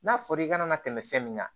N'a fɔra i ka na tɛmɛ fɛn min kan